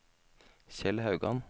Kjell Haugan